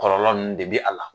Kɔlɔlɔ ninnu de be ala